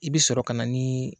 I bɛ sɔrɔ ka na ni